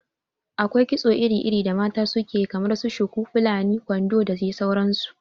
Akwai kitso iri iri da mata su ke yi kamar su shuku, fulani, kwandon da dai sauran su